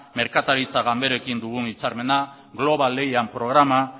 merkataritza ganberekin daukagun hitzarmena global lehian programa